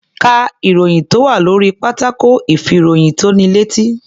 Ká ìròyìn tó wà lórí pátákó ìfìròyìntónilétí.